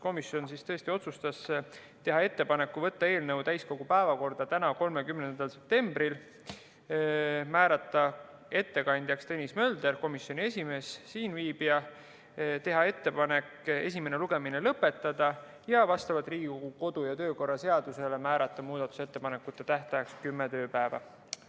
Komisjon otsustas teha ettepaneku võtta eelnõu täiskogu päevakorda tänaseks, 30. septembriks, määrata ettekandjaks Tõnis Mölder, komisjoni esimees, teha ettepanek esimene lugemine lõpetada ja vastavalt Riigikogu kodu- ja töökorra seadusele määrata muudatusettepanekute tähtajaks kümme tööpäeva.